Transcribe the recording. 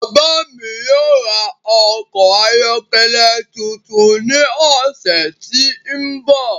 Bàbá mi yóò ra ọkọ̀ ayọ́kẹ́lẹ́ tuntun ní ọ̀sẹ̀ tí ń bọ̀.